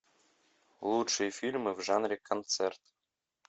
лучшие фильмы в жанре концерт